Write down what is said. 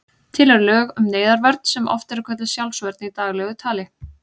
Til eru lög um neyðarvörn sem oft er kölluð sjálfsvörn í daglegu tali.